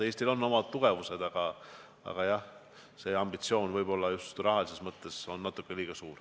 Eestil on omad tugevad küljed, aga jah, see ambitsioon on just rahalises mõttes ehk natuke liiga suur.